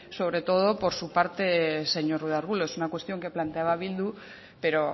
sobre todo por su parte señor ruiz de arbulo es una cuestión que planteaba bildu pero